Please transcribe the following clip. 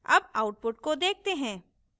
अब output को देखते हैं